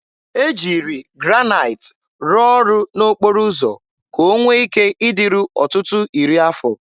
E jiri Granaịt rụọ ọrụ n'okporo ụzọ ka ọ nwee ike ịdịru ọtụtụ iri afọ.